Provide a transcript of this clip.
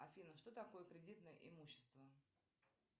афина что такое кредитное имущество